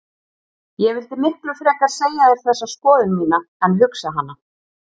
Ég vildi miklu frekar segja þér þessa skoðun mína en hugsa hana.